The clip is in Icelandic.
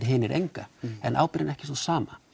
hinir enga en ábyrgðin er ekki sú sama